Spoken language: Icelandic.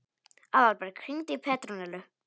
Aðalberg, hringdu í Petrónellu.